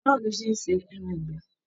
Báwo ló ṣe n ṣe ẹran ìgbẹ́?